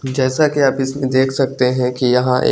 जैसा के आप इस्पे देख सकते है की यहाँ एक--